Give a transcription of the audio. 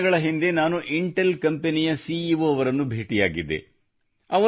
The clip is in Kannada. ಕೆಲವೇ ದಿನಗಳ ಹಿಂದೆ ನಾನು ಇಂಟೆಲ್ ಕಂಪನಿಯ ಸಿಇಒ ಅವರನ್ನು ಭೇಟಿಯಾಗಿದ್ದೆ